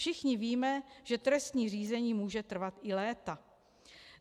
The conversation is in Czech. Všichni víme, že trestní řízení může trvat i léta.